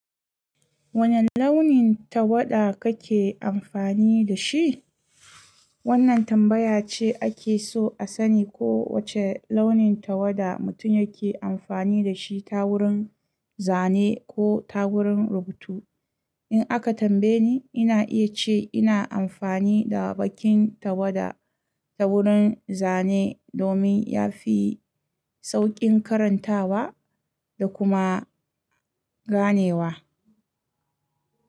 Wane launin tawada kake amfani da shi? Wannan tambaya ce ake so a sani ko wace launin tawada mutum yake amfani da shi ta wurin zane ko ta wurin rubutu. In aka tambaye ni, ina iya ce ina amfani da baƙin tawada ta wurin zane domin yafi sauƙin karantawa da kuma ganewa.